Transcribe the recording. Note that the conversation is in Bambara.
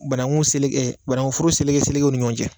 Banankuforo seleke selekew ni ɲɔgɔn cɛ